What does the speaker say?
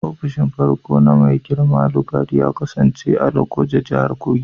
Ofishin farko na Mai girma Lugard ya kasance a Lokoja, Jihar Kogi.